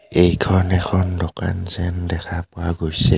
এইখন এখন দোকান যেন দেখা পোৱা গৈছে.